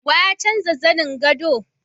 Wa ya canza zanin gado?